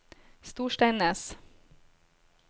Storsteinnes